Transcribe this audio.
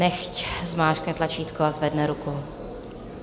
Nechť zmáčkne tlačítko a zvedne ruku.